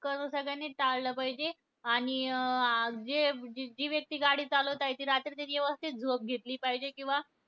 करणं तर सगळ्यांनीचं टाळलं पाहिजे. आणि अं जे जी व्यक्ती गाडी चालवत आहे, ती रात्री त्यांनी व्यवस्थित झोप घेतली पाहिजे. किंवा